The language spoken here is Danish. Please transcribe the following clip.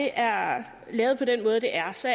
er lavet på den måde det er så